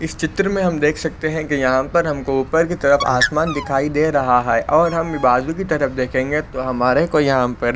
इस चित्र में हम देख सकते है कि यहाँ पर हमको ऊपर की तरफ आसमान देखाई दे रहा है और हम बाजु के तरफ देखेंगे हमारे को यहाँ पर --